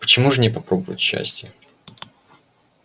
почему ж не попробовать счастия